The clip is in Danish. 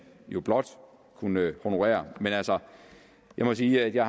jo blot kunne honorere men altså jeg må sige at jeg